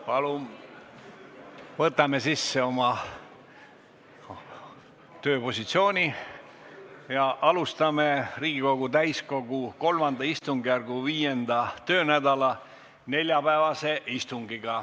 Palun võtame sisse oma tööpositsiooni ja alustame Riigikogu täiskogu III istungjärgu 5. töönädala neljapäevast istungit.